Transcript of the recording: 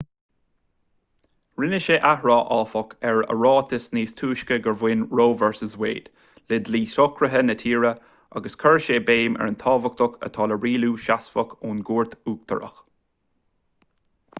rinne sé athrá áfach ar a ráiteas níos túisce gur bhain roe v wade le dlí socraithe na tíre agus chuir sé béim ar an tábhacht atá le rialú seasmhach ón gcúirt uachtarach